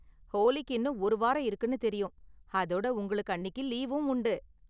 ஹோலிக்கு இன்னும் ஒரு வாரம் இருக்குனு தெரியும், அதோட உங்களுக்கு அன்னிக்கு லீவும் உண்டு.